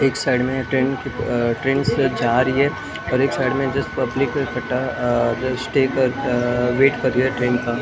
एक साइड में एक ट्रेन अ ट्रेन से जा रही है और साइड में जस्ट पब्लिक इकट्ठा अ रेसटे कर अ वेट कर रही है ट्रेन का --